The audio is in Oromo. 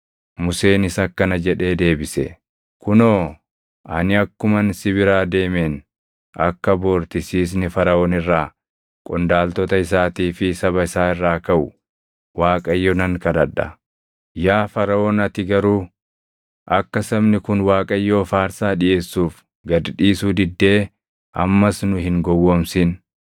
Museenis akkana jedhee deebise; “Kunoo, ani akkuman si biraa deemeen akka bor tisiisni Faraʼoon irraa, qondaaltota isaatii fi saba isaa irraa kaʼu Waaqayyo nan kadhadha. Yaa Faraʼoon ati garuu, akka sabni kun Waaqayyoof aarsaa dhiʼeessuuf gad dhiisuu diddee ammas nu hin gowwoomsin.”